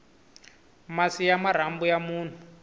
masi ya marhambu ya munhu